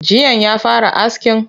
Jiyan ya fara askin?